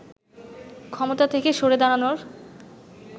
ক্ষমতা থেকে সরে দাঁড়ানোর